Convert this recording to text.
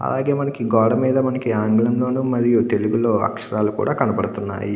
అలాగే మనకి గోడ మీద మనకి ఆంగ్లంలోనూ మరియు తెలుగు లో అక్షరాలు కూడా కనబడుతున్నాయి.